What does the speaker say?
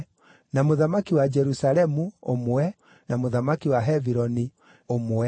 na mũthamaki wa Jerusalemu, ũmwe, na mũthamaki wa Hebironi, ũmwe,